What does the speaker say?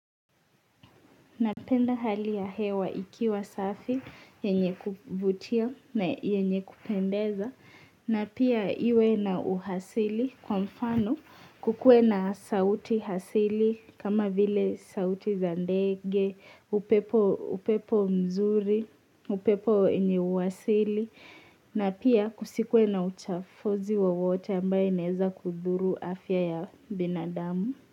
Napenda hali ya hewa ikiwa safi, yenye kuvutia na yenye kupendeza, na pia iwe na uhasili kwa mfano kukue na sauti asili kama vile sauti za ndege, upepo mzuri, upepo wenye uhasili, na pia kusikue na uchafozi wa wote ambaye neza kuduru afya ya binadamu.